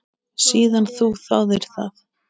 Síðan þú þáðir það?